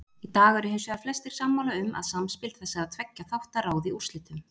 Í dag eru hins vegar flestir sammála um að samspil þessara tveggja þátta ráði úrslitum.